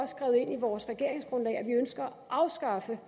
skrevet ind i vores regeringsgrundlag at vi ønsker at afskaffe